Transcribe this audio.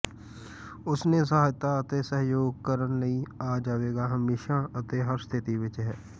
ਉਸ ਨੇ ਸਹਾਇਤਾ ਅਤੇ ਸਹਿਯੋਗ ਕਰਨ ਲਈ ਆ ਜਾਵੇਗਾ ਹਮੇਸ਼ਾ ਅਤੇ ਹਰ ਸਥਿਤੀ ਵਿੱਚ ਹੈ